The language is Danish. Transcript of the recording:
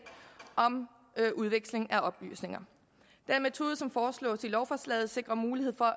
om udveksling af oplysninger den metode som foreslås i lovforslaget sikrer mulighed for